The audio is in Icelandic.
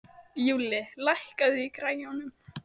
Júlli, lækkaðu í græjunum.